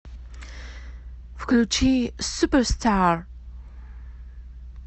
включи суперстар